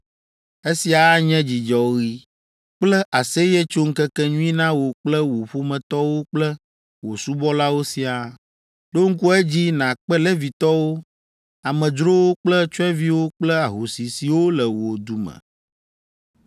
Esia anye dzidzɔɣi kple aseyetsoŋkekenyui na wò kple wò ƒometɔwo kple wò subɔlawo siaa. Ɖo ŋku edzi nàkpe Levitɔwo, amedzrowo kple tsyɔ̃eviwo kple ahosi siwo le wò du me.